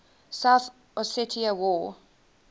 south ossetia war